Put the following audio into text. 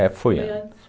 É, foi antes.